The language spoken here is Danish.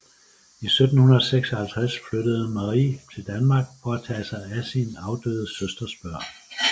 I 1756 flyttede Marie til Danmark for at tage sig af sin afdøde søsters børn